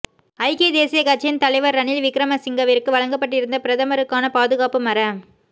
ஐக்கிய தேசியக் கட்சியின் தலைவர் ரணில் விக்ரமசிங்கவிற்கு வழங்கப்பட்டிருந்த பிரதமருக்கான பாதுகாப்பு மற